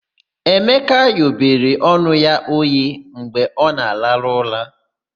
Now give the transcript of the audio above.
Emeka ghobere ọnụ ya oghe mgbe ọ na-arahụ ụra.